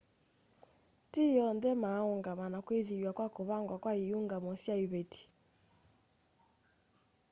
ti onthe maa ũngama na kwĩthĩwa kwa kũvangwa kwa iũngamo sya ivetĩ